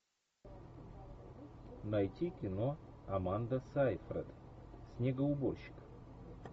найти кино аманда сайфред снегоуборщик